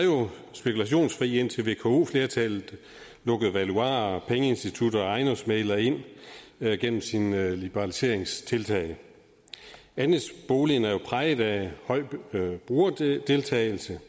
spekulationsfri indtil vko flertallet lukkede valuarer pengeinstitutter og ejendomsmæglere ind gennem sine liberaliseringstiltag andelsboligen er jo præget af høj brugerdeltagelse